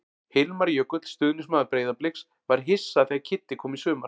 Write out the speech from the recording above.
Hilmar Jökull, stuðningsmaður Breiðabliks: Var hissa þegar Kiddi kom í sumar.